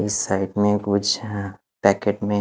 इस साइड में कुछ पॅकेट में--